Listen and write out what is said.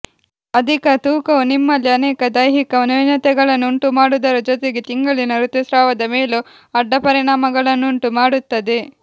ಅಧಿಕ ತೂಕವು ನಿಮ್ಮಲ್ಲಿ ಅನೇಕ ದೈಹಿಕ ನ್ಯೂನತೆಗಳನ್ನು ಉಂಟುಮಾಡುವುದರ ಜೊತೆಗೆ ತಿಂಗಳಿನ ಋತುಸ್ರಾವದ ಮೇಲೂ ಅಡ್ಡಪರಿಣಾಮಗಳನ್ನುಂಟು ಮಾಡುತ್ತದೆ